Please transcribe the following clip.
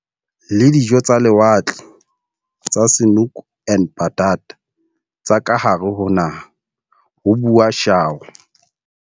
Le dijo tsa lewatle tsa 'Snoek en Patat tsa kahare ho naha, ho bua Shaw.